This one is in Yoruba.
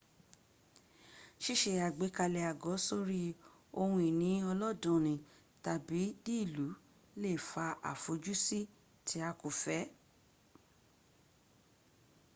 síse àgbékalẹ̀ àgọ́ sórí ohun ìní ọlọ́danni tàbí ní ìlú le fa àfojúsí tí a kò fẹ́